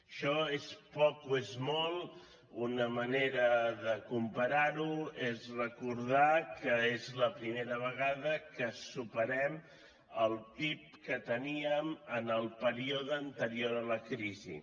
això és poc o és molt una manera de comparar ho és recordar que és la primera vegada que superem el pib que teníem en el període anterior a la crisi